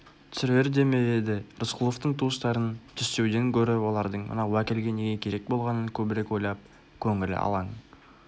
түсірер де ме еді рысқұловтың туыстарын түстеуден гөрі олардың мына уәкілге неге керек болғанын көбірек ойлап көңілі алаң